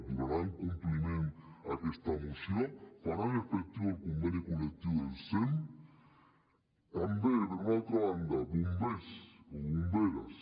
donaran compliment a aquesta moció faran efectiu el conveni col·lectiu del sem també per una altra banda bombers o bomberes